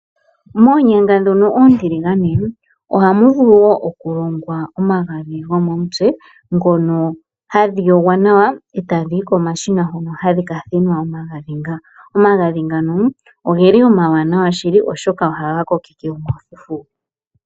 Moonyanga ndhono oontiligane, ohamu vulu wo okulongwa omagadhi gomomutse, ngono hadhi yogwa nawa eta dhiyi komashina hono hadhi kathinwa nawa nga. Omagadhi ngano ogeli omwaanawa shili oshoka ohaga kokeke omafufu.